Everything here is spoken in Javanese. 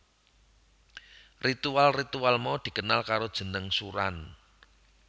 Ritual ritual mau dikenal karo jeneng suran